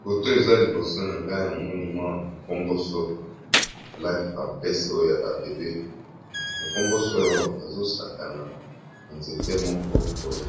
Foto eza liboso na ngai na moni mwa mokomboso alati pamperse oyo ya ba bebe mokomboso oyo azo sakana na nzete moko boye